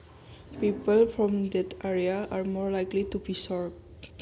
People from that area are more likely to be short